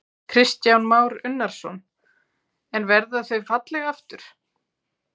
Kristján Már Unnarsson: En verða þau falleg aftur?